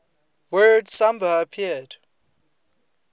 word samba appeared